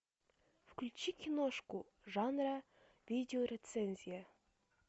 включи киношку жанра видео рецензия